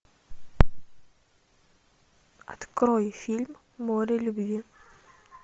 открой фильм море любви